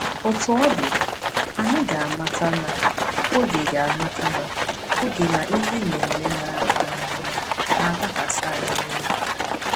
Otú ọ dị, anyị ga-amata na “oge ga-amata na “oge na ihe na-eme n’amaghị ama” na-adakwasị anyị niile.